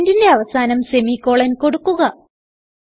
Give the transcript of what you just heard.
സ്റ്റേറ്റ്മെന്റിന്റെ അവസാനം സെമിക്കോളൻ കൊടുക്കുക